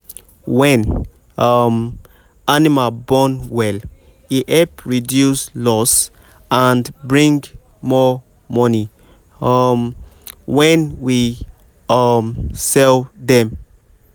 when um animal born well e help reduce loss and bring more money um when we um sell dem.